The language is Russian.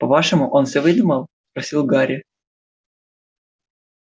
по-вашему он всё выдумал просил гарри